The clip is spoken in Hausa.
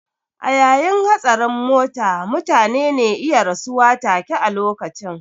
A yayin hatsarin mota mutane ne iya rasuwa take a lokacin